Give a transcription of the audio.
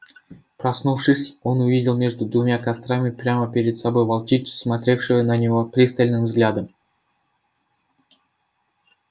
проснувшись он увидел между двумя кострами прямо перед собой волчицу смотревшую на него пристальным взглядом